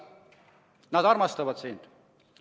Inimesed armastavad sind.